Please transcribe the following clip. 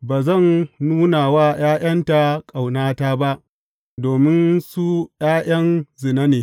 Ba zan nuna wa ’ya’yanta ƙaunata ba, domin su ’ya’yan zina ne.